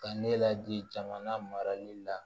Ka ne ladi jamana marali la